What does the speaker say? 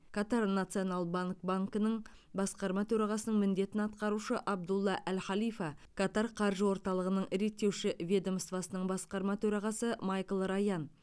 катар национал банк банкінің басқарма төрағасының міндетін атқарушы абдулла әл халифа катар қаржы орталығының реттеуші ведомствосының басқарма төрағасы майкл раян